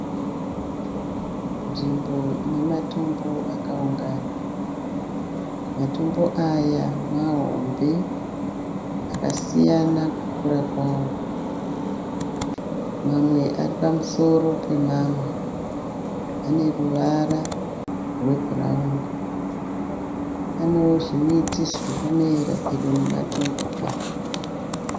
nzvimbo ine matombo akaungana, matombo aya mahombe, akasiyana kukura kwavo, mamwe aripamusoro pemamwe , ane ruvara rebhurauni, panewo zvimiti zvirikumera pedyo nematombo awo.